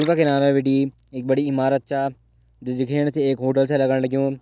गंगा किनारा बिटि एक बड़ी इमारत च जो दिखेण से एक होटल छ लगण लग्युं।